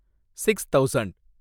six thousand